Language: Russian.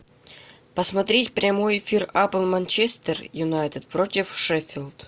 посмотреть прямой эфир апл манчестер юнайтед против шеффилд